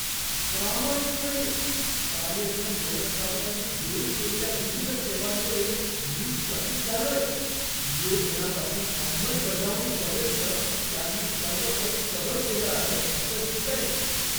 प्रामाणिकपणे, कार्यक्रम व्यवस्थापकानी देऊ केलेल्या विविध सेवांमुळे मी चकित झालोय, नियोजनापासून अंमलबजावणीपर्यंत त्यांनी सर्व काही कव्हर केलं आहे असं दिसतंय!